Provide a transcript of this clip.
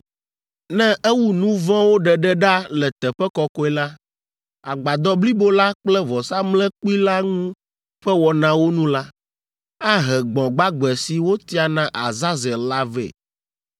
“Ne ewu nu vɔ̃wo ɖeɖe ɖa le Teƒe Kɔkɔe la, Agbadɔ blibo la kple vɔsamlekpui la ŋu ƒe wɔnawo nu la, ahe gbɔ̃ gbagbe si wotia na Azazel la vɛ.